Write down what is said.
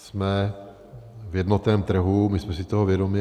Jsme v jednotném trhu, my jsme si toho vědomi.